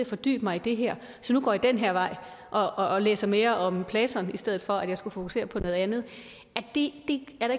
fordybe mig i det her så nu går jeg den her vej og og læser mere om platon i stedet for at fokusere på noget andet det er